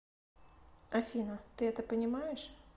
афина ты это понимаешь